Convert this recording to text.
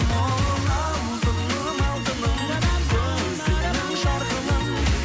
ооо алтыным алтыным көзіңнің жарқылын